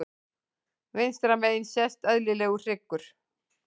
Vinstra megin sést eðlilegur hryggur.